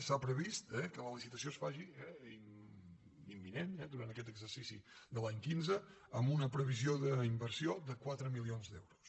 s’ha previst que la licitació es faci imminent durant aquest exercici de l’any quinze amb una previsió d’inversió de quatre milions d’euros